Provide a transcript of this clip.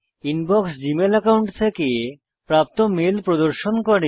inbox Gmail account থেকে প্রাপ্ত mail প্রদর্শন করে